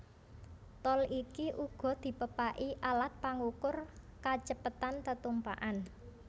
Tol iki uga dipepaki alat pangukur kacepetan tetumpakan